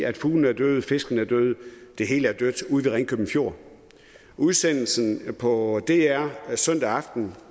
at fuglene er døde fiskene er døde det hele er dødt ude ved ringkøbing fjord udsendelsen på dr den søndag aften